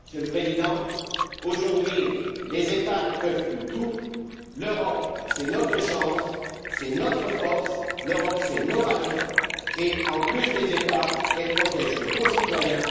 Monsieur le Président, les États ne peuvent plus tout, l'Europe c'est notre chance, c'est notre force, l'Europe c'est nos valeurs et, en plus des États, elle protège nos concitoyens.